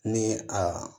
Ni a